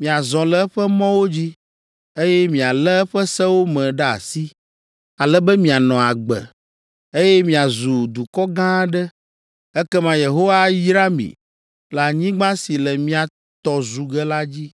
miazɔ le eƒe mɔwo dzi, eye mialé eƒe sewo me ɖe asi, ale be mianɔ agbe, eye miazu dukɔ gã aɖe, ekema Yehowa ayra mi le anyigba si le mia tɔ zu ge la dzi.